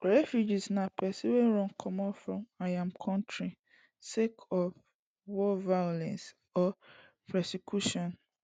refugee na pesin wey run comot from im kontri sake of war violence or persecution